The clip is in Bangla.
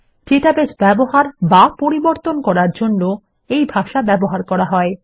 ডেটাবেস ব্যবহার এবং পরিবর্তন করার জন্য এই ভাষা ব্যবহার হয়